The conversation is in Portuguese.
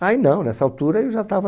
Aí não, nessa altura, eu já estava